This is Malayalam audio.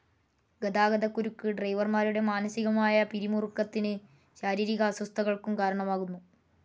ഗതാഗതകുരുക്ക് ഡ്രൈവർമാരുടെ മാനസികമായ പിരിമുരുക്കത്തിനു ശാരീരിക അസ്വസ്ഥകൾക്കും കാരണമാകുന്നു.